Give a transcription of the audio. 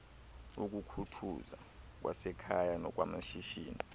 ukukhuthuza kwasekhaya nokwamashishini